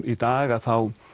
í dag að þá